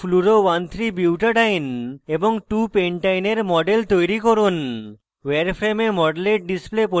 2fluoro13butadiene এবং 2pentyne এর model তৈরি করুন